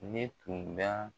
Ne tun bɛ a